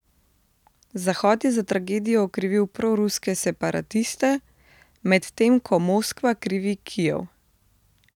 Zahod je za tragedijo okrivil proruske separatiste, medtem ko Moskva krivi Kijev.